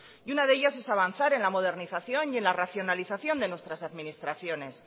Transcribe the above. y una de ellas es avanzar en la modernización y en la racionalización de nuestras administraciones